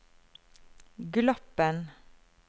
Gloppen